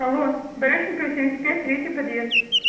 алло барышникова семьдесят пять третий подъезд